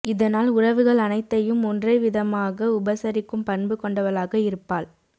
இதனால் உறவுகள் அனைத்தையும் ஒன்ரே விதமாக உபசரிக்கும் பண்பு கொண்டவளாக இருப்பாள்